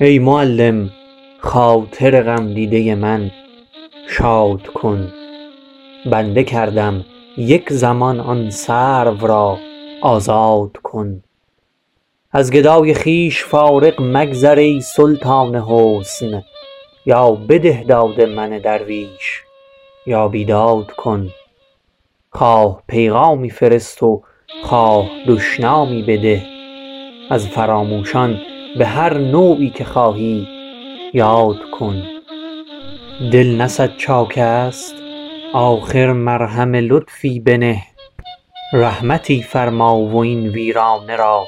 ای معلم خاطر غمدیده من شاد کن بنده گردم یک زمان آن سرو را آزاد کن از گدای خویش فارغ مگذر ای سلطان حسن یا بده داد من درویش یا بیداد کن خواه پیغامی فرست و خواه دشنامی بده از فراموشان بهر نوعی که خواهی یاد کن دل نه صد چاکست آخر مرهم لطفی بنه رحمتی فرما و این ویرانه را